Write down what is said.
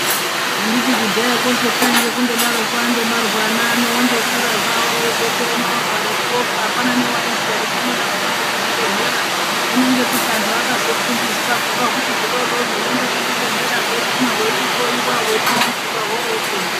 Handiti kudhaya kosu kwaingova kungodaroko angobarwa ana ano aingokura azotongorwarepo ofa hapana aiziya kutendesa kuzvibhehlera hino nekuti vantu vakazofundiswa hino huri hudodori hoenda kuchibhehlera hweiguma hweichihloiwa horoningirwa horopona.